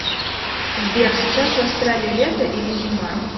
сбер сейчас в австралии лето или зима